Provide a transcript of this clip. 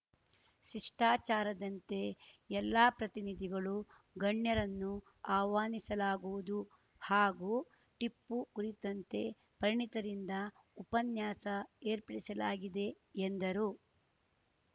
ಶಿಷ್ಟಾಚಾರದಂತೆ ಎಲ್ಲಾ ಜನಪ್ರತಿನಿಧಿಗಳು ಗಣ್ಯರನ್ನು ಆಹ್ವಾನಿಸಲಾಗುವುದು ಹಾಗೂ ಟಿಪ್ಪು ಕುರಿತಂತೆ ಪರಿಣಿತರಿಂದ ಉಪನ್ಯಾಸ ಏರ್ಪಡಿಸಲಾಗಿದೆ ಎಂದರು